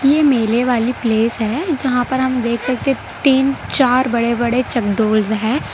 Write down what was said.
ये मेले वाली प्लेस है जहाँ पर आप देख सकते तीन चार बड़े बड़े चक डॉल्स हैं।